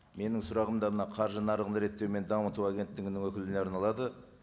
менің сұрағым да мына қаржы нарығын реттеу мен дамыту агенттігінің өкіліне арналады